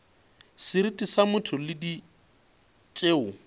seriti sa motho le tšeo